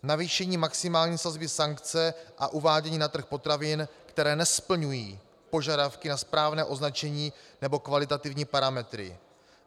Navýšení maximální sazby sankce a uvádění na trh potravin, které nesplňují požadavky na správné označení nebo kvalitativní parametry.